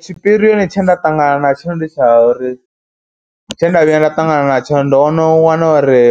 Tshipirioni tshe nda ṱangana na tshelede tsha uri, tshe nda vhuya nda ṱangana natsho ndo no wana uri